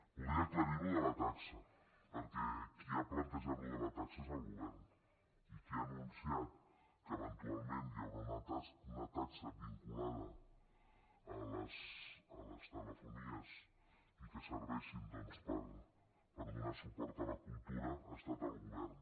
voldria aclarir això de la taxa perquè qui ha plantejat això de la taxa és el govern i qui ha anunciat que eventualment hi haurà una taxa vinculada a les telefonies i que serveixi doncs per donar suport a la cultura ha estat el govern